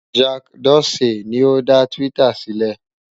Jack Dorsey ni ó dá Twitter sílẹ̀.